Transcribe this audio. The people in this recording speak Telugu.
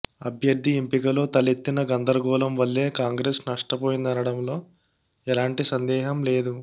అభ్యర్థి ఎంపికలో తలెత్తిన గందరగోళం వల్లే కాంగ్రెస్ నష్టపోయిందనడంలో ఎలాంటి సందేహం లేదు